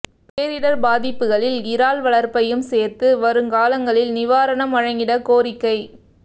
பேரிடர் பாதிப்புகளில் இறால் வளர்ப்பையும் சேர்த்து வரும் காலங்களில் நிவாரணம் வழங்கிட கோரிக்கை